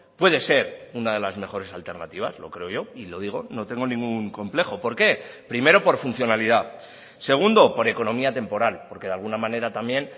puede ser una de las mejores alternativas lo creo yo y lo digo no tengo ningún complejo por qué primero por funcionalidad segundo por economía temporal porque de alguna manera también